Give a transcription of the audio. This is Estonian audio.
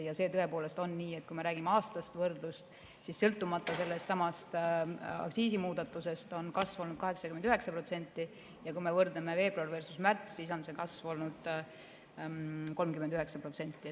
Ja see tõepoolest on nii, et kui me räägime aastasest võrdlusest, siis sõltumata sellestsamast aktsiisimuudatusest, on kasvanud 89%, ja kui me võrdleme veebruar versus märts, siis on see kasv olnud 39%.